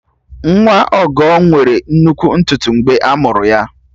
Nwa Ọgọ nwere nnukwu ntutu mgbe a mụrụ ya